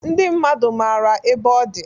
Ndị mmadu mara ebe ọdi.